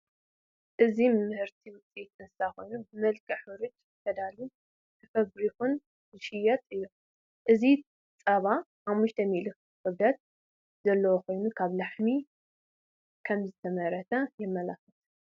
እዚ ምህርቲ ውፅኢት እንስሳት ኮይኑ ብመልክዕ ሕሩጭ ተዳልዩን ተፈብሪኹን ዝጥየጥን እዩ፡፡ እዚ ፀባ 500ሚ.ሊ ክብደት ዘለዎ ኮይኑ ካብ ላሕሚ ከምዝተመረተ የመላኽት፡፡